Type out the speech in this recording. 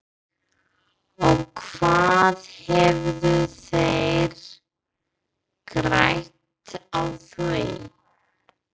Og hvað hefðu þeir grætt á því?